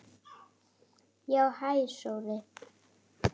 Já, hæ Sóri.